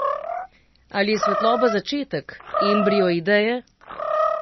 Ali je svetloba začetek, embrio ideje?